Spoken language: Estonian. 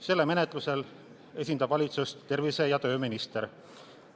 Selle menetlemisel esindab valitsust tervise- ja tööminister.